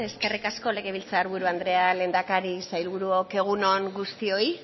eskerrik asko legebiltzar buru andrea lehendakari sailburuok egun on guztioi